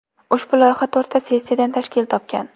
Ushbu loyiha to‘rtta sessiyadan tashkil topgan.